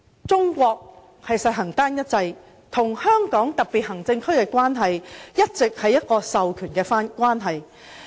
中國實行單一制，與香港特別行政區的關係一直是授權關係。